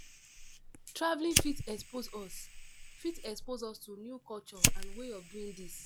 Travelling fit expose us fit expose us to new culture and way of doing tins